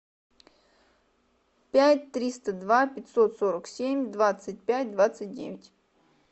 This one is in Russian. пять триста два пятьсот сорок семь двадцать пять двадцать девять